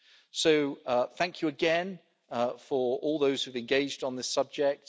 So, thank you again for all those who've engaged on this subject.